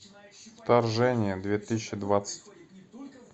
вторжение две тысячи двадцать